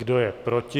Kdo je proti?